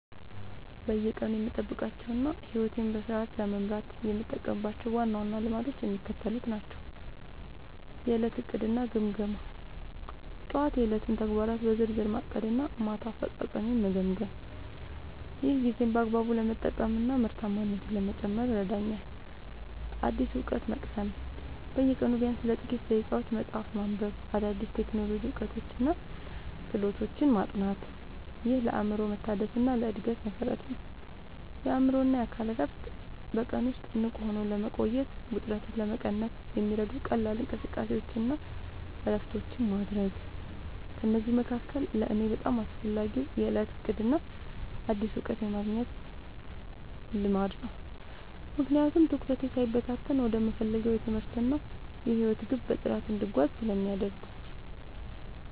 በየቀኑ የምጠብቃቸውና ሕይወቴን በስርዓት ለመምራት የምጠቀምባቸው ዋና ዋና ልማዶች የሚከተሉት ናቸው፦ የዕለት ዕቅድና ግምገማ፦ ጠዋት የዕለቱን ተግባራት በዝርዝር ማቀድና ማታ አፈጻጸሜን መገምገም። ይህ ጊዜን በአግባቡ ለመጠቀምና ምርታማነትን ለመጨመር ይረዳኛል። አዲስ እውቀት መቅሰም፦ በየቀኑ ቢያንስ ለጥቂት ደቂቃዎች መጽሐፍ ማንበብ፣ አዳዲስ የቴክኖሎጂ እውቀቶችንና ክህሎቶችን ማጥናት። ይህ ለአእምሮ መታደስና ለዕድገት መሠረት ነው። የአእምሮና አካል እረፍት፦ በቀን ውስጥ ንቁ ሆኖ ለመቆየትና ውጥረትን ለመቀነስ የሚረዱ ቀላል እንቅስቃሴዎችንና እረፍቶችን ማድረግ። ከእነዚህ መካከል ለእኔ በጣም አስፈላጊው የዕለት ዕቅድና አዲስ እውቀት የማግኘት ልማድ ነው፤ ምክንያቱም ትኩረቴ ሳይበታተን ወደምፈልገው የትምህርትና የሕይወት ግብ በጥራት እንድጓዝ ስለሚያደርጉኝ።